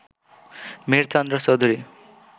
Mihirchandra Chowdhury